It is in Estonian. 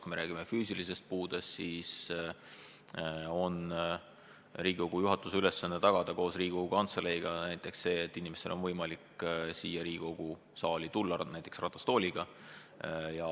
Kui me räägime füüsilisest puudest, siis on Riigikogu juhatuse ülesanne tagada koos Riigikogu Kantseleiga see, et inimestel on võimalik siia Riigikogu saali tulla ka ratastooliga.